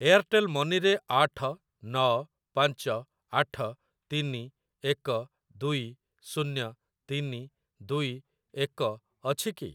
Airtel money ରେ ଆଠ ନ ପାଞ୍ଚ ଆଠ ତିନି ଏକ ଦୁଇ ଶୂନ୍ୟ ତିନି ଦୁଇ ଏକ ଅଛି କି?